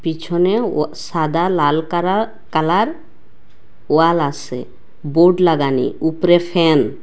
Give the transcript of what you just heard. পিছনে ওয়া সাদা লাল কারা কালার ওয়াল আসে বোর্ড লাগানি উপরে ফ্যান ।